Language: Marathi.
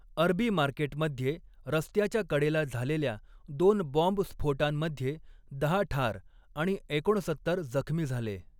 अरबी मार्केटमध्ये रस्त्याच्या कडेला झालेल्या दोन बॉम्बस्फोटांमध्ये दहा ठार आणि एकोणसत्तर जखमी झाले.